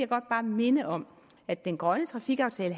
godt bare minde om at den grønne trafikaftale